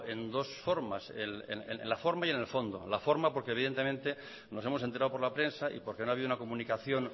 en dos formas en la forma y en el fondo en la forma porque evidentemente nos hemos enterado por la prensa y porque no ha habido una comunicación